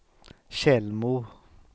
Tjällmo